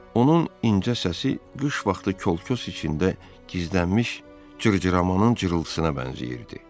Onun incə səsi qış vaxtı kolkös içində gizlənmiş cırcıramanın cırıltısına bənzəyirdi.